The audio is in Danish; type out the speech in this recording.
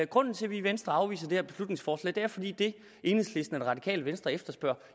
grunden til at vi i venstre afviser det her beslutningsforslag er fordi det enhedslisten radikale venstre efterspørger